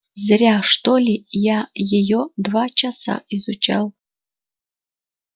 зря что ли я её два часа изучал